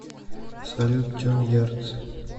салют тюн ярдс